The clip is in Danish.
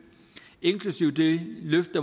inklusive det løft